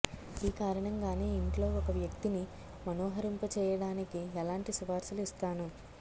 ఈ కారణంగానే ఇంట్లో ఒక వ్యక్తిని మనోహరింపజేయడానికి ఎలాంటి సిఫార్సులు ఇస్తాను